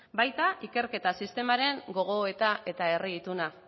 baita ikerketa sistemaren gogoetara eta herri ituna